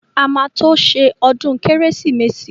A máa tó ṣe ọdún kérésìmesì.